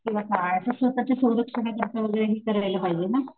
किंवा काय अश्या स्वतःच्या संरक्षणा करीत करायला पाहिजे ना